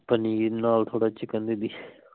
ਪਨੀਰ ਨਾਲ ਥੋੜਾ chicken ਵੀ